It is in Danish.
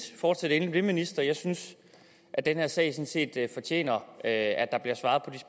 fortsæt endelig ministeren jeg synes at den her sag sådan set fortjener at der bliver svaret